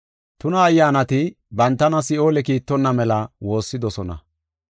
Tuna ayyaanati bantana Si7oole kiittonna mela woossidosona.